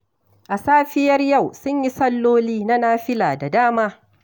A safiyar yau sun yi salloli na nafila da dama